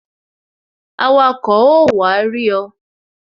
Awako ó wá rí ọ